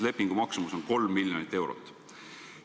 Lepingu maksumus on 3 miljonit eurot.